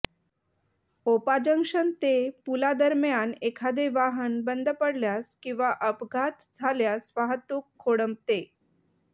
ओपा junction ते पुलादरम्यान एखादे वाहन बंद पडल्यास किंवा अपघात झाल्यास वाहतूक खोळंबते